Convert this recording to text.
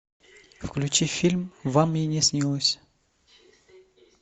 включи фильм вам и не снилось